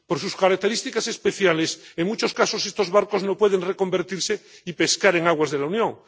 Por sus características especiales, en muchos casos estos barcos no pueden reconvertirse y pescar en aguas de la Unión.